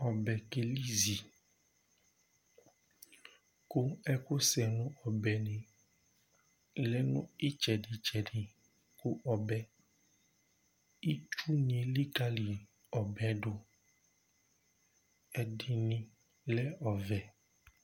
Ɔbɛ kelizi ku ɛku sɛ nu ɔbenu ɔlɛ nitsɛdi tsɛdi kɔbɛ Ɩtsuni elikali ɔbɛ du ɛdini lɛ ɔvɛ ,